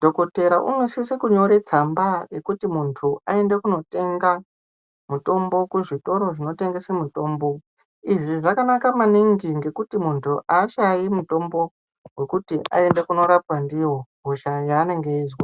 dhogodhera unosise kunyore tsamba yekuti muntu aende kootenga mutombo kuzvitoro zvinotengese mutombo. Izvi zvakanaka maningi ngekuti muntu ahashayi mutombo wekuti aende kunorapwa ndiwo hosha yaanenge eizwa.